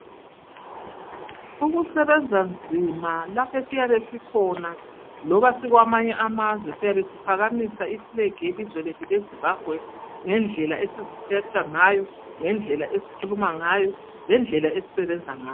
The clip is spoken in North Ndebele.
Ukusebenza nzima lapha esiyabe sikhona loba sikwamanye amazwe, siyabe siphakamisa ifulegi yelizwe lethu leZimbabwe ngendlela esiziphethe ngayo, ngendlela esikhuluma ngayo, lendlela esisebenza ngayo.